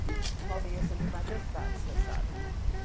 O nosso ia sempre majestade, você sabe, né?